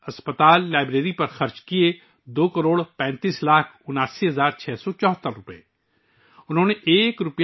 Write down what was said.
اور اسکول، اسپتال، لائبریری پر دو کروڑ پینتیس لاکھ اناسی ہزار چھ سو چوہتر روپے خرچ ہوئے